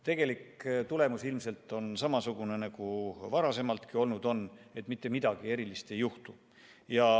Tegelik tulemus ilmselt on samasugune nagu varasemaltki, et mitte midagi erilist ei juhtu.